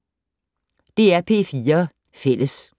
DR P4 Fælles